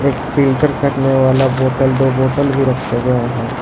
एक फ़िल्टर करने वाला बोटल दो बोटल भी रखे गए हैं।